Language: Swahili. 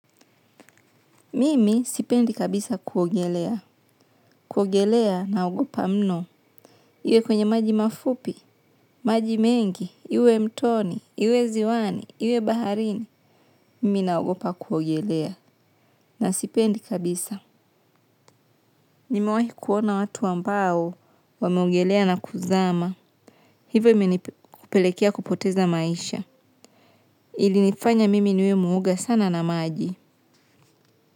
Mimi sipendi kabisa kuogelea, kuogelea naogopa mno. Iwe kwenye maji mafupi, maji mengi, iwe mtoni, iwe ziwani, iwe baharini. Mimi naogopa kuogelea na sipendi kabisa. Nimewahi kuona watu ambao wameogelea na kuzama. Hivo imenipelekea kupoteza maisha. Ilinifanya mimi niwe muoga sana na maji.